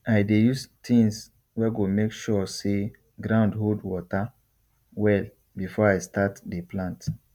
i dey use things wey go make sure say ground hold water well before i start dey plant